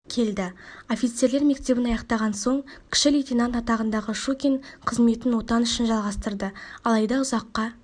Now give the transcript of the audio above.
келді офицерлер мектебін аяқтаған соң кіші лейтенант атағындағы щукин қызметін отан үшін жалғастырды алайда ұзаққа